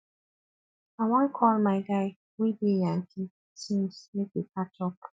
i wan call my guy wey dey yankee since make we catch up